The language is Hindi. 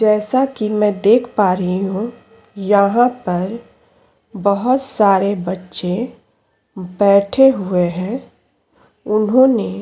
जैसाकि मैं देख पा रही हूँ यहाँ पर बोहोत सारे बच्चे बेठे हुए हैं उन्होंने --